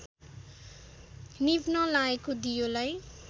निभ्न लागेको दियोलाई